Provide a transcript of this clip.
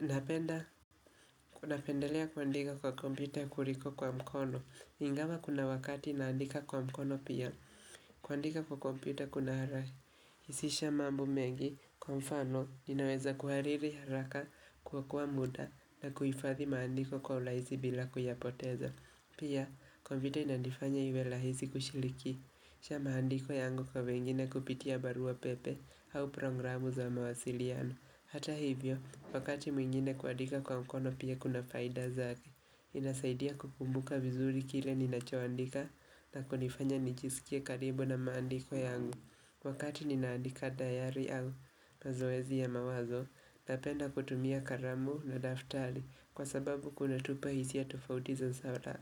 Napenda, kunapendelea kuandika kwa kompyuta kuliko kwa mkono, ingawa kuna wakati naandika kwa mkono pia, kuandika kwa kompyuta kunaha rahisisha mambo mengi, kwa mfano, ninaweza kuhariri haraka kuokoa muda na kuifadhi maandiko kwa ulaizi bila kuyapoteza. Pia, kompyuta inanifanya iwe lahizi kushilikisha maandiko yangu kwa wengine kupitia barua pepe au programu za mawasiliano. Hata hivyo, wakati mwingine kuandika kwa mkono pia kuna faida zake, inasaidia kukumbuka vizuri kile ninachoandika na kunifanya nijisikia karibu na maandiko yangu. Wakati ninaandika dayari au mazoezi ya mawazo, napenda kutumia karamu na daftari kwa sababu kuna tupa hisia tofauti za sara